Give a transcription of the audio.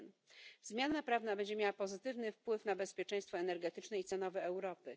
1. Zmiana prawna będzie miała pozytywny wpływ na bezpieczeństwo energetyczne i cenowe Europy.